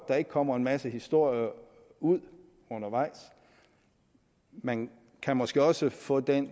der ikke kommer en masse historier ud undervejs man kan måske også få den